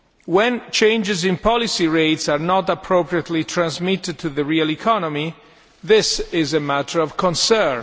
When changes in policy rates are not appropriately transmitted to the real economy, this is a matter of concern.